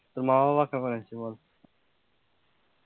তোর মা বাবা কেমন আছে বল?